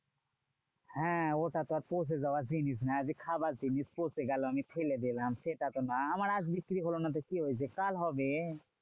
হ্যাঁ ওটা তো আর পচে যাওয়ার জিনিস না যে, খাবার জিনিস পচে গেলো। আমি ফেলে দিলাম সেটা তো না। আমার আজ বিক্রি হলো না তো কি হয়েছে? কাল হবে।